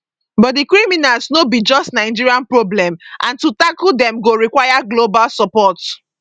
but di criminals no be just nigeria problem and to tackle dem go require global support